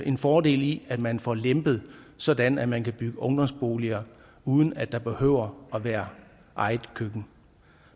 en fordel i at man får det lempet sådan at man kan bygge ungdomsboliger uden at der behøver at være eget køkken